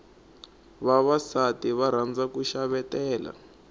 vavasati va rhandza ku xavetela